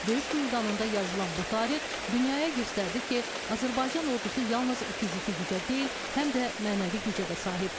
Döyüş meydanında yazılan bu tarix dünyaya göstərdi ki, Azərbaycan ordusu yalnız fiziki gücə deyil, həm də mənəvi gücə də sahibdir.